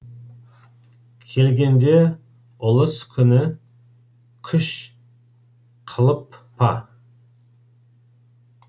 келгенде ұлыс күні күш қылып па